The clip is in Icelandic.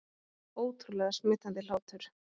Ótrúlega smitandi hlátur